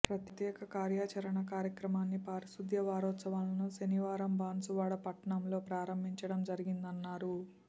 ప్రత్యేక కార్యచరణ కార్యక్రమాన్ని పారిశుద్ధ వారోత్సవాలను శనివారం బాన్సువాడ పట్టణంలో ప్రారంభించడం జరిగిందన్నారు